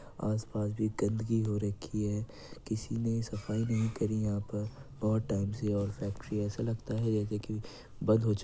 आसपास भी गंदगी हो रखी है किसी ने सफाई नहीं करी यहाँ पर बहुत टाइम से और ऐसा लगता है जैसे कि बंद हो चुकी है ।